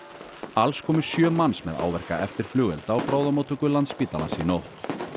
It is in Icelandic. alls komu sjö manns með áverka eftir flugelda á bráðamóttöku Landspítalans í nótt